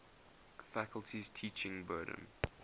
faculty's teaching burden